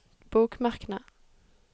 bokmerkene